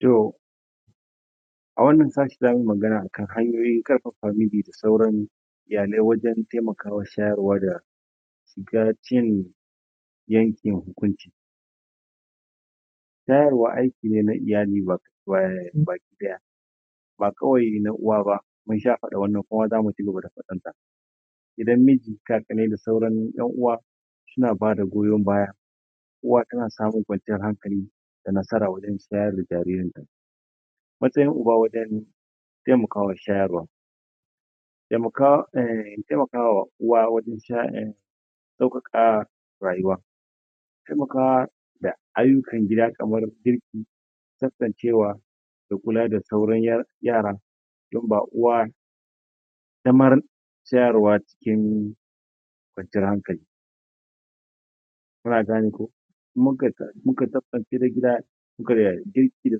to a wannan sati zamuyi magana akan hanyoyin karfafa de de ta sauran iyalai wajen temakawa shayarwa shayarwa aiki ne na iyali baki daya ba kawai na uwa ba mun sha fadan wannan kuma zamu ci gaba da fadanta idan miji ka fita da sauran yan uwa suna bada goyon baya uwa tana samun kwan ciyar hankali da nasara wajen shayar da jaririn ta matsayin uba wajen temakawa shayar wan temaka, temakawa uwa wajen shayarwa sauka ka rayuwa temaka da ayyukan gida kamar girki tsaftacewa da kula da sauran yaran duk ba uwa damar shayarwa cikin kwanciyar hankali kuna gane ko in muka tsaftace gida da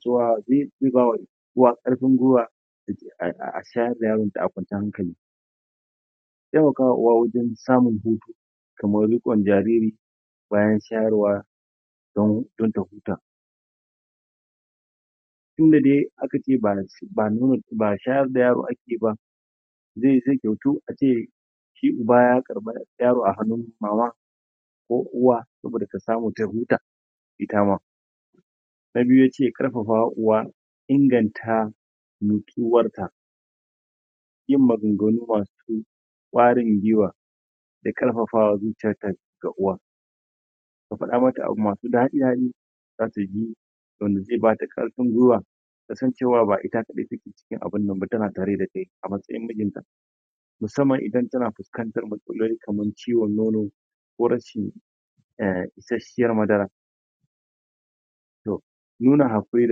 cewa ruwa karfin ruwa a shayar da danta a kwanciyar hankali temakawa uwa wajen samun hutu kamar riqon jariri bayan shayarwa dan ta huta tun da de aka ce ba shayar da yaron da ake ba zai zama tamkar ace sai a bayar yaro a wajen mama a wajen uwa saboda tasamu ta huta ita ma na biyu yace karfafa uwa inganta nitsuwarta yin maganganu masu dadi kwarin gwuiwa da karfafa zuciyar ta garkuwa ya fada mata abubuwa masu dadi da zata ji wanda zai bata karfin gwuiwa tasan cewa ba ita kadai take cikin abun nan tana tare da kai a matsayin mijin ta musamman idan tana fuskantar matsaloli kamar isashiyar madara da yana haquri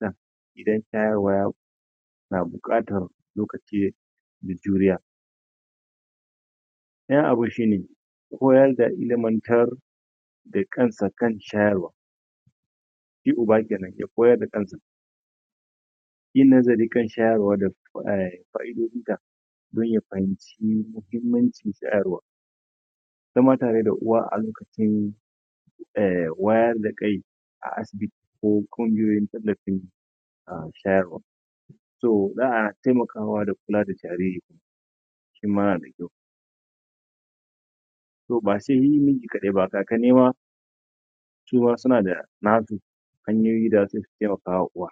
da idan shayarwa na bukatar lokacin mai juriya dayan abun shine ko idan ya ilimantar kansa kan shayarwan shi uba kenan ya koyar da kansa kan shayarwa ilimin shayarwa da qa'ido jinta dan ya fahimci muhimmancin shayarwan zama tare da uwa a lokacin hm wayar da kai a asibiti ko kungiyoyin tallafi shayarwa zaa temaka wajen kula da jaririn shima yayi riko ko sai mijiba ga kannne ma suma suna da nasu hanyoyin da zasu temaka wa uwa